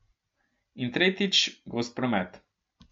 In tretjič, gost promet.